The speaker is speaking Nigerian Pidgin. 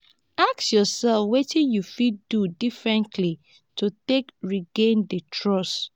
ask yourself wetin you fit do differently to take regain di trust